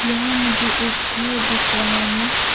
यहाँ मुझे एक घर दिख रहा है।